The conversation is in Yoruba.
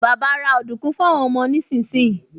Bàbá ra ọ̀dùnkún fún àwọn ọmọ nísinsìnyí